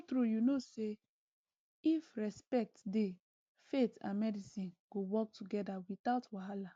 true true you know say if respect dey faith and medicine go work together without wahala